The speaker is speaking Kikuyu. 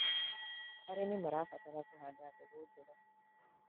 Arĩmĩ marabatara kũhanda mbegũ njega